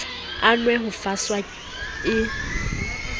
a nwe ho faswa e